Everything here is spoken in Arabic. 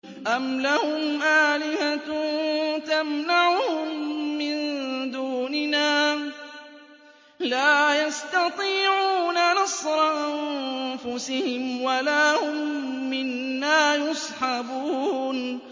أَمْ لَهُمْ آلِهَةٌ تَمْنَعُهُم مِّن دُونِنَا ۚ لَا يَسْتَطِيعُونَ نَصْرَ أَنفُسِهِمْ وَلَا هُم مِّنَّا يُصْحَبُونَ